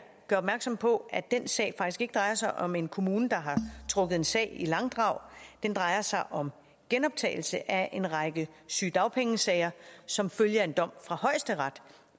opmærksom på at den sag faktisk ikke drejer sig om en kommune der har trukket en sag i langdrag den drejer sig om genoptagelse af en række sygedagpengesager som følge af en dom fra højesteret